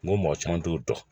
N mɔgɔ caman t'o dɔn